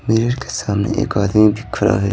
Mirror के सामने एक आदमी भी खड़ा है।